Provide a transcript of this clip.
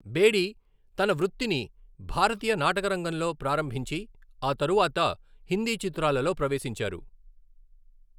బేడీ తన వృత్తిని భారతీయ నాటకరంగంలో ప్రారంభించి, ఆ తరువాత హిందీ చిత్రాలలో ప్రవేశించారు.